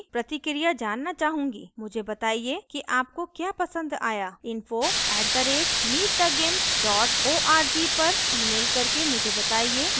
मुझे बताइये कि आपको क्या पसंद आया info @meetthegimp org पर ईमेल करके मुझे बताइये कि मैं किस तरह इसे और बेहतर बना सकती हूँ